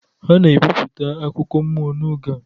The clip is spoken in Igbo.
A na-ebipụta akụkọ mmụọ n'oge a